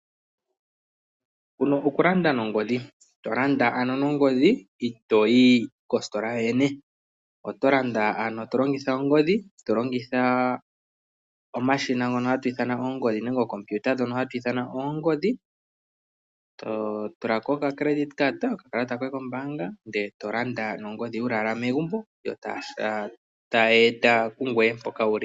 Okulanda nongodhi itoo yi kositola yoyene. Oto landa to longitha ongodhi nenge okompiuta, to tula ko okakalata koye kombaanga wu li owala megumbo yo taya eta pungoye mpoka wu li.